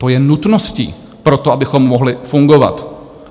To je nutností pro to, abychom mohli fungovat.